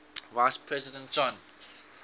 vice president john